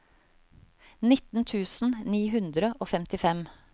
nitten tusen ni hundre og femtifem